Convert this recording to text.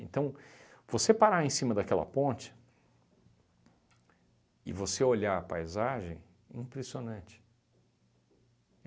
você parar em cima daquela ponte e você olhar a paisagem, impressionante.